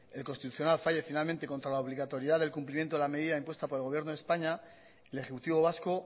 el constitucional falle finalmente contra la obligatoriedad del cumplimiento de la medida impuesta por el gobierno de españa el ejecutivo vasco